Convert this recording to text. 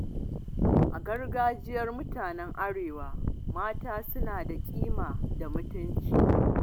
A gargajiyar mutanen Arewa, mata suna da kima da mutunci.